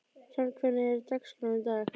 Hrafn, hvernig er dagskráin í dag?